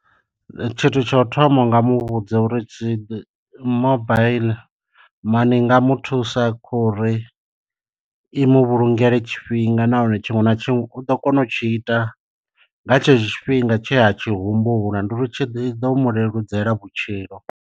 Tshithu tsha u thoma u nga muvhudza uri tshi mobile mani i nga mu thusa kha uri imu vhulungele tshifhinga. Nahone tshiṅwe na tshiṅwe u ḓo kona u tshi ita nga tshetsho tshifhinga tshe a tshi humbula ndi uri tshi ḓo mu leludzela vhutshilo.